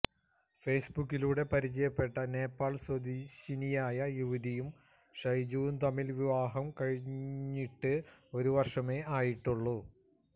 ഫെയ്സ്ബുക്കിലൂടെ പരിചയപ്പെട്ട നേപ്പാള് സ്വദേശിനിയായ യുവതിയും ഷൈജുവും തമ്മില് വിവാഹം കഴിഞ്ഞിട്ട് ഒരുവര്ഷമേ ആയിട്ടുള്ളു